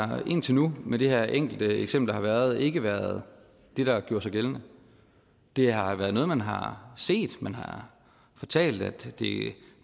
har indtil nu med det her enkelte eksempel der har været ikke været det der har gjort sig gældende det har været noget man har set man har fortalt at det